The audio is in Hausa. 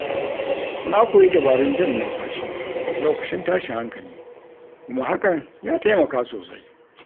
Na koyi dabarun jan numfashi lokacin tashin hankali kuma hakan ya taimaka sosai.